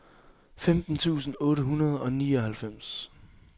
femten tusind otte hundrede og nioghalvfems